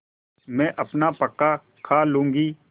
मैं अपना पकाखा लूँगी